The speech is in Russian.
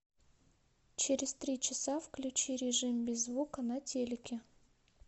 через три часа включи режим без звука на телике